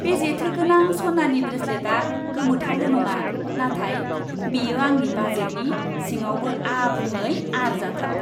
बे जेथोगोनां सनानि ब्रेसेलेटआ गोमोथावल' नङा, नाथाय बेयो आंनि बाजेटनि सिङावबो आबुङै आरजाथाव।